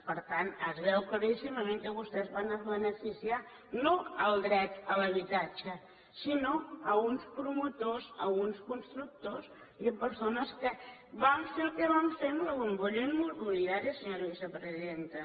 per tant es veu claríssimament que vostès van a beneficiar no el dret a l’habitatge sinó uns promotors uns constructors i persones que van fer el que van fer amb la bombolla immobiliària senyora vicepresidenta